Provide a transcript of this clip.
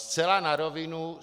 Zcela na rovinu.